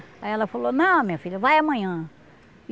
Aí ela falou, não, minha filha, vai amanhã.